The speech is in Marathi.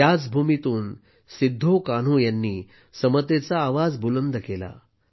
याच भूमीतून सिद्धोकान्हूंनी समतेचा आवाज बुलंद केला